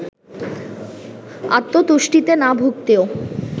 আত্মতুষ্টিতে না ভুগতেও